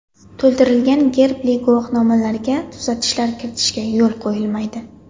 To‘ldirilgan gerbli guvohnomalarga tuzatishlar kiritishga yo‘l quyilmaydi.